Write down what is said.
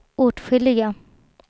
åtskilliga